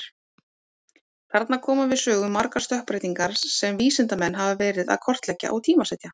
Þarna koma við sögu margar stökkbreytingar sem vísindamenn hafa verið að kortleggja og tímasetja.